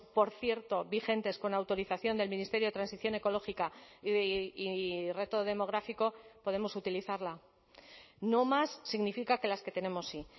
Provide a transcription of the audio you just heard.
por cierto vigentes con autorización del ministerio de transición ecológica y reto demográfico podemos utilizarla no más significa que las que tenemos sí